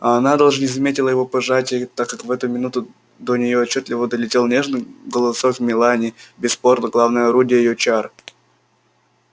а она даже не заметила его пожатия так как в эту минуту до нее отчётливо долетел нежный голосок мелани бесспорно главное орудие её чар